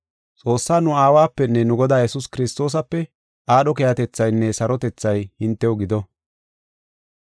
Xoossaa nu Aawapenne nu Godaa Yesuus Kiristoosape aadho keehatethaynne sarotethay hintew gido.